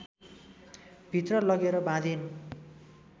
भित्र लगेर बाँधिन्